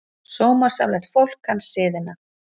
Sómasamlegt fólk kann siðina.